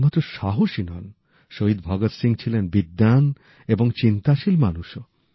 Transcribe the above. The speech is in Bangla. কেবলমাত্র সাহসী নন শহীদ ভগৎ সিং ছিলেন বিদ্বান এবং চিন্তাশীল মানুষও